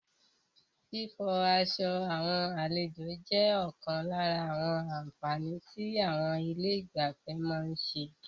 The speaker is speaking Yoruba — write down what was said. Fífọ aṣọ àwọn àlejò jẹ́ ọ̀kan lára àwọn àǹfààní tí àwọn ilé ìgbafẹ́ má ń ṣe.